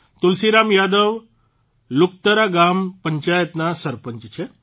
તુલસીરામ યાદવ લુકતરા ગ્રામ પંચાયતના સરપંચ છે